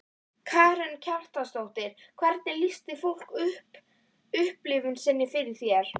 Karen Kjartansdóttir: Hvernig lýsti fólk upplifun sinni fyrir þér?